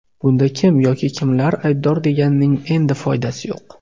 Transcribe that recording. Bunda kim yoki kimlar aybdor deganning endi foydasi yo‘q.